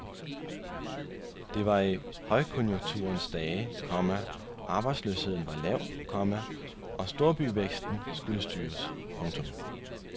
Det var i højkonjunkturens dage, komma arbejdsløsheden var lav, komma og storbyvæksten skulle styres. punktum